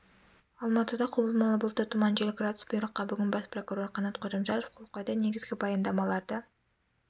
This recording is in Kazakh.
алматыда құбылмалы бұлтты тұман жел градус бұйрыққа бүгін бас прокурор қанат қожамжаров қол қойды негізгі баяндамаларды